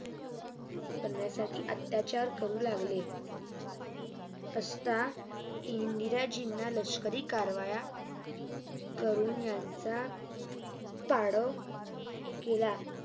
करण्यासाठी अत्याचार करू लागले असता इंदिराजिना लष्करी कारवाया कडून यांचा त्राव लागला